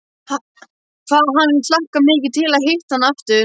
Hvað hann hlakkar mikið til að hitta hana aftur!